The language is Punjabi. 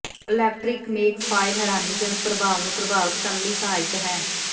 ਇਲੈਕਟ੍ਰਿਕ ਮੇਖ ਫਾਇਲ ਹੈਰਾਨੀਜਨਕ ਪ੍ਰਭਾਵ ਨੂੰ ਪ੍ਰਾਪਤ ਕਰਨ ਲਈ ਸਹਾਇਕ ਹੈ